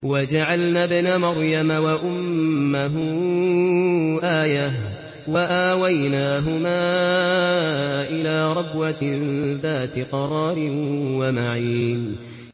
وَجَعَلْنَا ابْنَ مَرْيَمَ وَأُمَّهُ آيَةً وَآوَيْنَاهُمَا إِلَىٰ رَبْوَةٍ ذَاتِ قَرَارٍ وَمَعِينٍ